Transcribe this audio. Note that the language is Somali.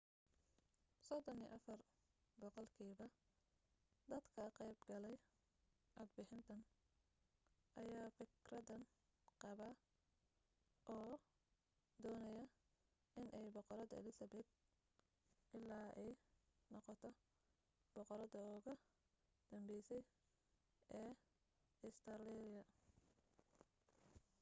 34 boqolkiiba dadka ka qayb gelay codbixintan ayaa fikradan qaba oo doonaya inay boqoradda elizabeth ii ay noqoto boqoradda uga dambeysa ee ustareeliya